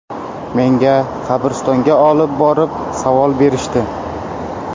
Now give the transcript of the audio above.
Menga qabristonga olib borib savol berishdi.